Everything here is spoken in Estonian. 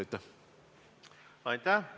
Aitäh!